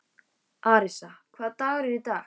Arisa, hvaða dagur er í dag?